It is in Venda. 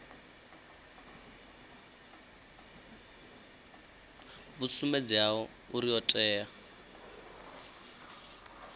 vhu sumbedzaho uri o tea